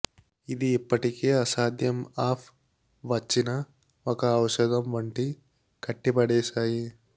ఇది ఇప్పటికే అసాధ్యం ఆఫ్ వచ్చిన ఒక ఔషధం వంటి కట్టిపడేశాయి